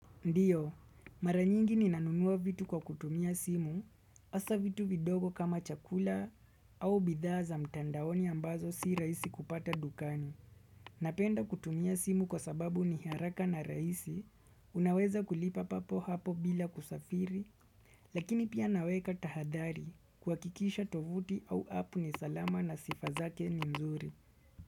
Ndiyo, mara nyingi nina nunuwa vitu kwa kutumia simu, asa vitu vidogo kama chakula au bidhaa za mtandaoni ambazo si rahisi kupata dukani. Napenda kutumia simu kwa sababu ni haraka na raisi, unaweza kulipa papo hapo bila kusafiri, lakini pia naweka tahadhari kuhakikisha tovuti au app ni salama na sifa zake ni nzuri.